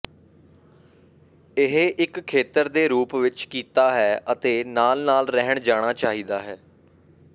ਇਹ ਇੱਕ ਖੇਤਰ ਦੇ ਰੂਪ ਵਿੱਚ ਕੀਤਾ ਹੈ ਅਤੇ ਨਾਲ ਨਾਲ ਰਹਿਣ ਜਾਣਾ ਚਾਹੀਦਾ ਹੈ